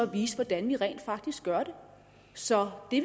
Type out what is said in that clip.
vi viser hvordan vi rent faktisk gør det så det